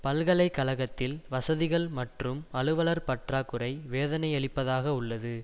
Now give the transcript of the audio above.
பல்கலை கழகத்தில் வசதிகள் மற்றும் அலுவலர் பற்றாகுறை வேதனையளிப்பதாக உள்ளது